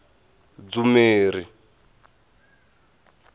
dzumeri